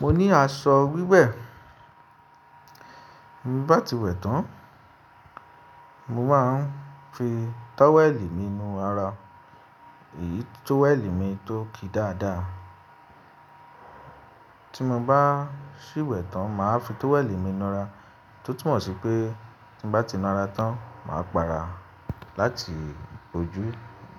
Mo ní aṣọ wiwẹ, bí n bá ti wẹ̀ tán mo máa ń fi tówẹ́lì mí nú ara, èyí tówẹ́lì mi tó ki dáadáa. Tí mo bá sì wẹ̀ tán màá fi tówẹ́lì mi nára, tó túmọ̀ sí pé tí mo bá ti nára tán màá para láti ojú